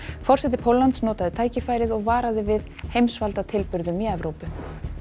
forseti Póllands notaði tækifærið og varaði við heimsvaldatilburðum í Evrópu